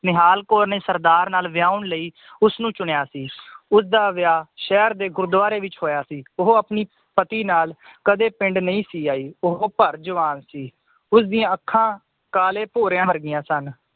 ਨਿਹਾਲ ਕੌਰ ਨੇ ਸਰਦਾਰ ਨਾਲ ਵਯਉਣ ਲਈ ਉਸਨੂੰ ਚੁਣਿਆ ਸੀ ਉਸਦਾ ਵਿਆਹ ਸ਼ਹਿਰ ਦੇ ਗੁਰੁਦ੍ਵਾਰੇ ਵਿਚ ਹੋਇਆ ਸੀ ਉਹ ਆਪਣੀ ਪਤੀ ਨਾਲ ਕਦੇ ਪਿੰਡ ਨਹੀ ਸੀ ਆਈ ਉਹ ਭਰ ਜਵਾਨ ਸੀ ਉਸ ਦੀਆਂ ਅੱਖਾਂ ਕਾਲੇ ਭੋਰਿਆਂ ਵਰਗੀਆਂ ਸਨ